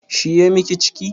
Shi ya miki ciki?